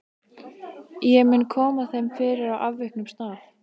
Ég mun koma þeim fyrir á afviknum stað.